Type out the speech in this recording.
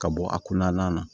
Ka bɔ a kunna na